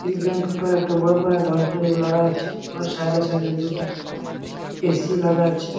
এই ব্যাংক টা একটা বড় পরা ডয়টরি লাগা আছে। ওর সাইড এ সাইড এ দুটা এ.সি. লাগা আছে।